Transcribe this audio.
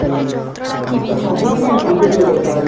ତ ସବୁଠି ପାଇଁ computer ଦରକାର